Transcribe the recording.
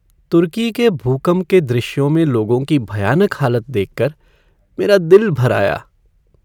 तुर्की के भूकंप के दृश्यों में लोगों की भयानक हालत देख कर मेरा दिल भर आया।